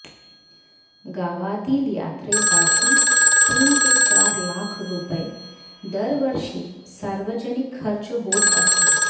गावातील यात्रेसाठी तीन ते चार लाख रुपये दरवर्षी सार्वजनिक खर्च होत असतो